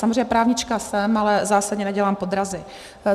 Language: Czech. Samozřejmě právnička jsem, ale zásadně nedělám podrazy.